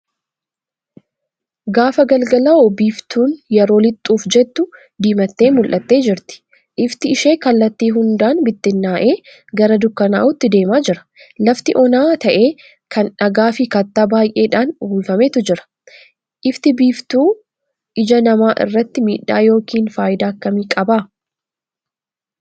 Gaafa galgalaa'u biiftuu yeroo lixuuf jettu diimattee mul'attee jirti. Ifti ishee kallattii hundaan bittinna'ee gara dukkanaa'uutti deemaa jira. Lafti onaa ta'e kan dhagaafi kattaa baay'eedhaan uwwifametu jira. Ifti biiftuu ija namaa irratti miidhaa yookiin faayidaa akkamii qaba?